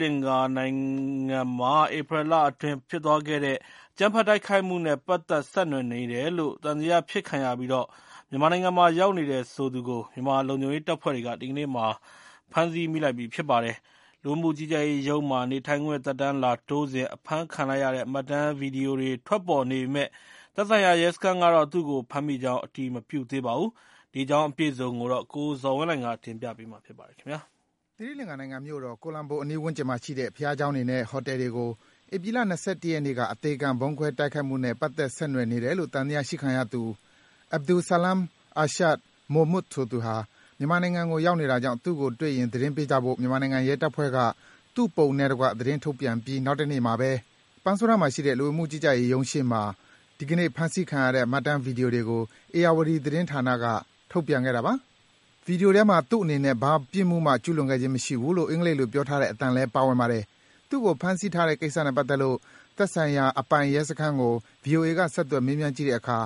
လင်္ကာနိုင်ငံမှာ ဧပြီလအတွင်း ဖြစ်သွားခဲ့တဲ့ အကြမ်းဖက်တိုက်ခိုက်မှုနဲ့ ပတ်သက် ဆက်နွယ်နေတယ်လို့ သံသယဖြစ်ခံရပြီး မြန်မာနိုင်ငံမှာ ရောက်နေတယ်ဆိုသူကို မြန်မာလုံခြုံရေးတပ်ဖွဲ့တွေက ဒီကနေ့ ဖမ်းဆီ မိလိုက်ပြီ ဖြစ်ပါတယ်။ လူဝင်မှုကြီးကြပ်ရေးရုံးမှာ နေထိုင်ခွင့် သက်တမ်းလာတိုးစဉ် အဖမ်းခံလိုက်ရတဲ့ မှတ်တမ်း ဗွီဒီယိုတွေထွက်ပေါ်နေပေမယ့် သက်ဆိုင်ရာ ရဲစခန်းကတော့ သူ့ကို ဖမ်းမိကြောင်း အတည်မပြုသေးပါဘူး။ အပြည့်အစုံကိုတော့ ကိုဇော်ဝင်းလှိုင်က တင်ပြပေးပါမယ်။ သီရိလင်္ကာနိုင်ငံမြို့တော် ကိုလံဘိုအနီးဝန်းကျင်မှာရှိတဲ့ ဘုရားကျောင်းတွေနဲ့ ဟိုတယ်တွေကို ဧပြီလ ၂၁ ရက်နေ့က အသေခံ ဗုံးခွဲတိုက်ခိုက်ခဲ့မှုနဲ့ ပတ်သက် ဆက်နွယ်နေတယ်လို့ သံသယရှိခံသူ Abdul Salam Irshad Mohmood ဆိုသူဟာ မြန်မာနိုင်ငံကို ရောက်နေတာကြောင့် သူ့ကိုတွေ့ရင် သတင်းပေးကြဖို့ မြန်မာနိုင်ငံ ရဲတပ်ဖွဲ့က သူ့ပုံနဲ့တကွ သတင်းထုတ်ပြန်ပြီး နောက်တနေ့မှာဘဲ ပန်းဆိုးတန်းမှာရှိတဲ့ လူဝင်မှုကြီးကြပ်ရေးရုံးရှေ့မှာ ဒီကနေ့ ဖမ်းဆီးခံရတဲ့ မှတ်တမ်း ဗွီဒီယိုကို ဧရာဝတီ သတင်းဌာနက ထုတ်ပြန်ခဲ့တာပါ။ ဗွီဒီယိုထဲမှာ သူ့အနေနဲ့ ဘာပြစ်မှုမှ ကျူးလွန်ခဲ့ခြင်းမရှိဘူးလို့ အင်္ဂလိပ်လို ပြောထားတဲ့အသံလည်း ပါဝင်ပါတယ်။ သူ့ကို ဖမ်းဆီးထားတဲ့ကိစ္စနဲ့ပတ်သက်လို့ သက်ဆိုင်ရာအပိုင် ရဲစခန်းကို ဗွီအိုအေက ဆက်သွယ် မေးမြန်းကြည့်တဲ့အခါ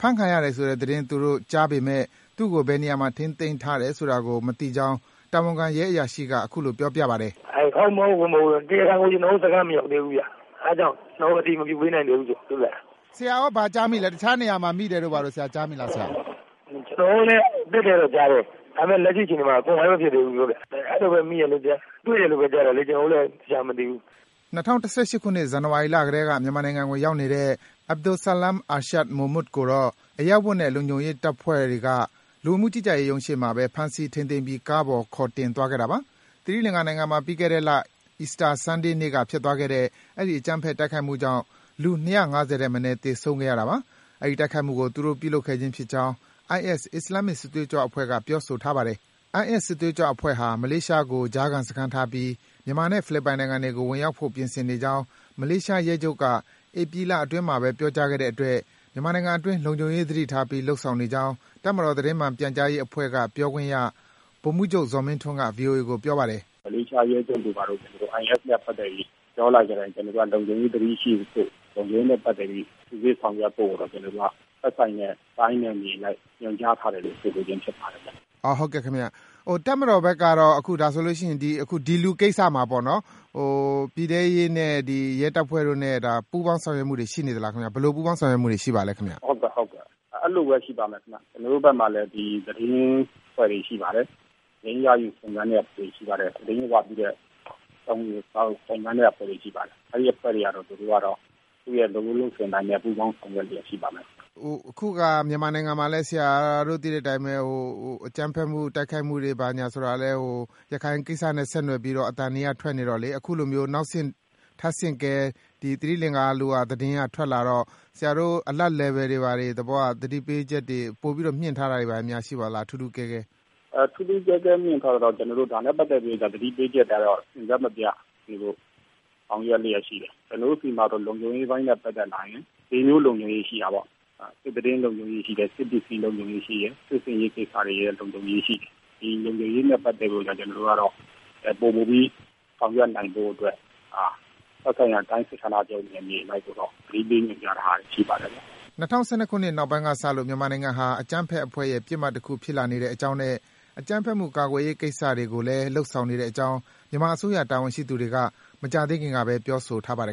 ဖမ်းခံရတယ်ဆိုတဲ့သတင်း သူတို့ကြားပေမယ့် သူ့ကို ဘယ်နေရာမှာ ထိန်သိမ်းထားတယ်ဆိုတာကို မသိကြောင်း တာဝန်ခံ ရဲအရာရှိက အခုလို ပြောပါတယ်။ ဖြေ။ ။ တရားခံက ကျနော်တို့စခန်းမရောက်သေးဘူးခင်ဗျ အဲဒါကြောင့် ကျနော်တို့ အတည်မပြုပေးနိုင်သေးဘူး။ မေး။ ။ ဆရာရော ဘာကြားမိလဲ တခြားနေရာမှာ မိတယ်လို့ကြားမိလား ဖြေ။ ။ ကျနော်တို့လည်း ကြားတယ် ဒါပေမယ့် လက်ရှိအခြေအနေမှာ confirm မဖြစ်သေးဘူး။ အဲလိုပဲ မိတယ် တွေ့တယ်လို့ကြားတာလေ ကျနော်တို့လည်း သေချာမသိဘူး။” ၂၀၁၈ ခုနှစ် ဇန်နဝါရီလကတည်းက မြန်မာနိုင်ငံကို ရောက်နေတဲ့ Abdul Salam Irshad Mohmood ကိုတော့ အရပ်ဝတ်နဲ့ လုံခြုံရေးတပ်ဖွဲ့တွေက လူဝင်မှုကြီးကြပ်ရေးရုံးရှေ့မှာဘဲ ဖမ်းဆီး ထိန်းသိမ်းပြီး ကားပေါ်ခေါ်တင်သွားခဲ့တာပါ။ သီရိလင်္ကာနိုင်ငံမှာ ပြီးခဲ့တလ Easter Sunday နေ့ကဖြစ်သွားခဲ့တဲ့ အဲဒီ အကြမ်းဖက် တိုက်ခိုက်မှုကြောင့် လူ ၂၅၀ ထက်မနည်း သေဆုံးသွားခဲ့ရတာပါ။ ဒီတိုက်ခိုက်မှုကို သူတို့ ပြုလုပ်ခဲ့ခြင်းဖြစ်ကြောင်း IS အစ္စလာမ်မစ် စစ်သွေးကြွအဖွဲ့က ပြောထားပါတယ်။ IS စစ်သွေးကြွအဖွဲ့ဟာ မလေးရှားကို ကြားစခန်းထားပြီး မြန်မာနဲ့ ဖိလစ်ပိုင်နိုင်ငံတွေကို ဝင်ရောက်ဖို့ ပြင်ဆင်နေကြောင်း မလေးရှားရဲချုပ်က ဧပြီလအတွင်းမှာဘဲ ပြောကြားခဲ့တဲ့အတွက် မြန်မာနိုင်ငံအတွင်း လုံခြုံရေးသတိထားပြီး လုပ်ဆောင်နေကြောင်း တပ်မတော်သတင်းမှန်ပြန်ကြားရေးအဖွဲ့က ပြောခွင့်ရ ဗိုလ်မှူးချုပ် ဇော်မင်းထွန်းက ဗွီအိုအေကို ပြောပါတယ်။ ဗိုလ်မှူးချုပ် ဇော်မင်းထွန်း။ ။ မလေးရှားရဲချုပ်က IS နဲ့ ပတ်သက်ပြီး သွားလာတိုင်း ကျနော်တို့က လုံခြုံရေးသတိရှိဖို့ လုံခြုံရေးနဲ့ ပတ်သက်ပြီး စစ်ဆေးဆောင်ရွက်ဖို့ သက်ဆိုင်ရာ တိုင်းနဲ့ နယ်မြေနဲ့ကို ညွှန်ကြားထားတယ်လို့ ဆိုပါတယ်။ မေး။ ။ ဟုတ်ကဲ့ တပ်မတော်ဘက်ကတော့ ဒီလူကိစ္စမှာပေါ့ ၊ ပြည်ထဲရေးနဲ့ ရဲတပ်ဖွဲ့တို့နဲ့ ပူးပေါင်းဆောင်ရွက်မှုတွေရှိနေသလား ၊ ဘယ်လိုပူးပေါင်းဆောင်ရွက်မှုတွေရှိနေပါသလဲ။ ဗိုလ်မှူးချုပ် ဇော်မင်းထွန်း။ ။ ဟုတ်ကဲ့ အဲလိုပဲ ရှိပါတယ်ခင်ဗျ။ ကျနော်တို့ဘက်မှာလည်း သတင်းအဖွဲ့တွေရှိပါတယ်။ သတင်းရယူစုံစမ်းတဲ့အဖွဲ့တွေရှိပါတယ်။ အဲဒီအဖွဲ့တွေကတော့ သူတို့လုပ်ရိုးလုပ်စဉ်အတိုင်းနဲ့ ပူးပေါင်းဆောင်ရွက်လျက်ရှိပါမယ်။ မေး။ ။ အခုက မြန်မာနိုင်ငံမှာလည်း ဆရာတို့သိတဲ့အတိုင်းပဲ အကြမ်းဖက် တိုက်ခိုက်မှုတွေဆိုတာကလည်း ရခိုင်ကိစ္စနဲ့ ဆက်နွယ်ပြီးတော့ အသံတွေက ထွက်နေတော့ အခုလိုမျိုး နောက် ထပ်ဆင့်ကဲသီရိလင်္ကာ သတင်းတွေထွကလာတော့ ဆရာတို့ Alert level တွေ သတိပေးချက်တွေ ပိုပြီးတော့ မြှင့်ထားတာတွေများရှိပါသလဲ ထူးထူးကဲကဲ။ ဗိုလ်မှူးချုပ် ဇော်မင်းထွန်း။ ။ ထူးထူးကဲကဲမြှင့်ထားတာကတော့ ဒါနဲ့ပတ်သက်ပြီး သတိပေးချက်ကတော့ အဆက်မပျက်ဆောင်ရွက်လျက်ရှိတယ်။ ကျနော်တို့ဆီမှာတော့ လုံခြုံရေးအပိုင်းနဲ့ ပတ်သက်လာရင် ၄ မျိုးလုံခြုံရေးရှိတယ်၊ သတင်းလုံခြုံရေးရှိတယ်၊ စစ်ပစ္စည်းလုံခြုံရေးရှိတယ်၊ စစ်ဆင်ရေးလုံခြုံရေးရှိတယ်။ ဒီလုံခြုံရေးနဲ့ ပတ်သက်ပြီးတော့ ကျနော်တို့ကတော့ ပိုမိုပြီးဆောင်ရွက်နိုင်ဖို့အတွက် သက်ဆိုင်ရာတိုင်းစစ်ဌာနချုပ်ကို နယ်မြေအလိုက် သတင်းပေးနေတာတွေရှိပါတယ်။” ၂ဝ၁၂ခုနှစ်နောက်ပိုင်းကစလို့ မြန်မာနိုင်ငံဟာ အကြမ်းဖက်အဖွဲ့တွေရဲ့ ပစ်မှတ်တခု ဖြစ်လာနေတဲ့အကြောင်းနဲ့ အကြမ်းဖက်မှုကာကွယ်ရေး ကိစ္စတွေကိုလည်း လုပ်ဆောင်နေတဲ့အကြောင်း မြန်မာအစိုးရ တာဝန်ရှိသူတွေက မကြာသေးခင်ကဘဲ ပြောဆိုထားပါတယ်